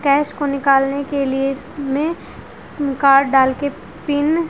cash को निकालने के लिए इसमे कार्ड डालके पिन --